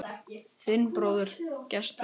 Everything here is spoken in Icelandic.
Þinn bróðir, Gestur.